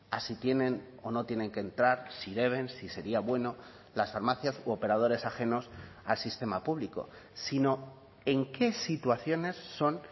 a si tienen o no tienen que entrar si deben si sería bueno las farmacias u operadores ajenos al sistema público sino en qué situaciones son